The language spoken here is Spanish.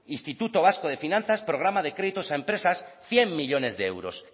instituto vasco de finanzas programa de créditos a empresas cien millónes de euros